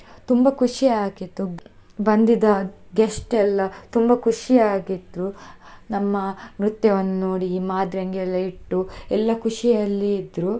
ತುಂಬಾ ಖುಷಿ ಆಗಿತ್ತು ಬಂದಿದ guest ಎಲ್ಲಾ ತುಂಬಾ ಖುಷಿ ಆಗಿದ್ರು, ನಮ್ಮ ನೃತ್ಯವನ್ನು ನೋಡಿ ಮಾದ್ರೆಂಗಿ ಎಲ್ಲಾ ಇಟ್ಟು ಎಲ್ಲಾ ಖುಷಿ ಅಲ್ಲಿ ಇದ್ರು.